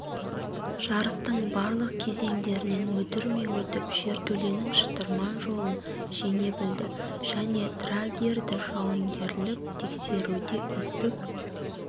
жарыстың барлық кезеңдерінен мүдірмей өтіп жертөленің шытырман жолын жеңе білді және драгерді жауынгерлік тексеруде үздік